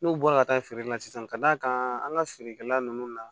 N'u bɔra ka taa feere la sisan ka d'a kan an ka feerekɛla ninnu na